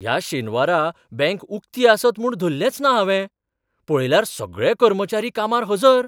ह्या शेनवारा बँक उक्ती आसत म्हूण धल्लेंच ना हावें, पळयल्यार सगळे कर्मचारी कामार हजर!